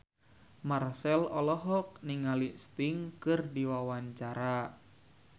Marchell olohok ningali Sting keur diwawancara